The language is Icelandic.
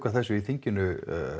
þessu í þinginu